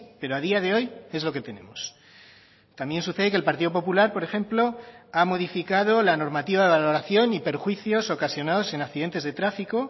pero a día de hoy es lo que tenemos también sucede que el partido popular por ejemplo ha modificado la normativa de valoración y perjuicios ocasionados en accidentes de tráfico